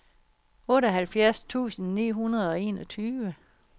otteoghalvfjerds tusind ni hundrede og enogtyve